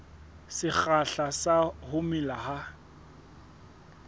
sekgahla sa ho mela ha